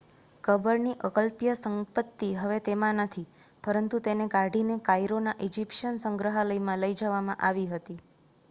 કબર ની અકલ્પ્ય સંપત્તિ હવે તેમાં નથી પરંતુ તેને કાઢી ને કાઇરો ના ઇજિપ્શિયન સંગ્રહાલય માં લઈ જવામાં આવી હતી